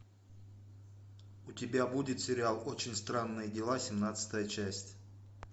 у тебя будет сериал очень странные дела семнадцатая часть